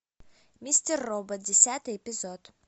мистер робот десятый эпизод